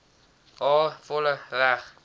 haar volle reg